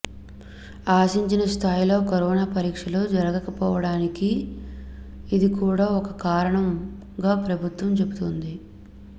ఆశించిన స్థాయిలో కరోనా పరీక్షలు జరగకపోవడానికి ఇది కూడా ఒక కారణంగా ప్రభుత్వం చెబుతోంది